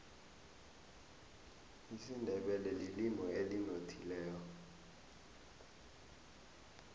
isindebele lilimi elinothileko